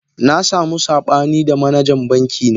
Na samu sabani da manajan bankina